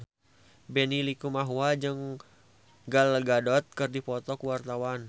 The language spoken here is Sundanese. Benny Likumahua jeung Gal Gadot keur dipoto ku wartawan